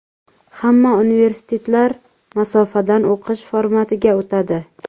Hamma universitetlar masofadan o‘qish formatiga o‘tadi.